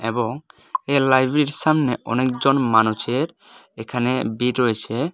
এবং এ লাইব্রেরীর সামনে অনেকজন মানুষের এখানে ভিড় রয়েছে।